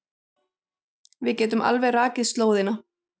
Við getum alveg rakið slóðina.